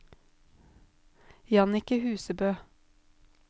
Jannicke Husebø